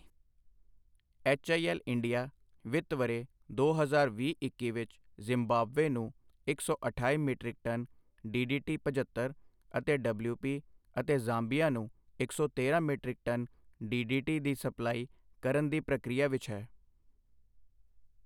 HIL India ਵਿੱਤ ਵਰ੍ਹੇ ਦੋ ਹਜ਼ਾਰ ਵੀਹ ਇੱਕੀ ਵਿੱਚ ਜ਼ਿੰਬਾਬਵੇ ਨੂੰ ਇੱਕ ਸੌ ਅਠਾਈ ਮੀਟ੍ਰਿਕ ਟਨ ਡੀਡੀਟੀ ਪਝੱਤਰ ਅਤੇ ਡਬਲਿਊਪੀ ਅਤੇ ਜ਼ਾਂਬੀਆ ਨੂੰ ਇੱਕ ਸੌ ਤੇਰਾਂ ਮੀਟ੍ਰਿਕ ਟਨ ਡੀਡੀਟੀ ਦੀ ਸਪਲਾਈ ਕਰਨ ਦੀ ਪ੍ਰਕਿਰਿਆ ਵਿੱਚ ਹੈ।